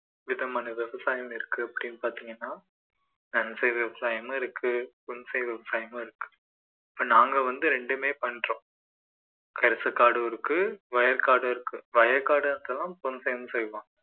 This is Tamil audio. விதமான விவசாயம் இருக்கு அப்படின்னு பார்த்தீங்கன்னா நன்செய் விவசாயமும் இருக்கு புன்செய் விவசாயமும் இருக்கு இப்போ நாங்க வந்து ரெண்டுமே பண்றோம் கரிசக்காடும் இருக்கு வயக்காடு இருக்கு வயக்காடுங்கிறது புன்செய்னு சொல்லுவோம்